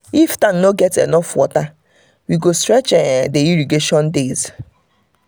if tank no get enough water we go stretch um dey irrigation days.